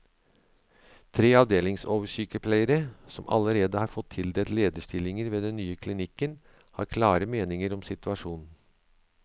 Tre avdelingsoversykepleiere, som allerede har fått tildelt lederstillinger ved den nye klinikken, har klare meninger om situasjonen.